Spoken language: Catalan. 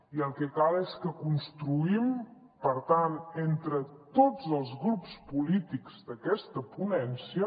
i el que cal és que construïm per tant entre tots els grups polítics d’aquesta ponència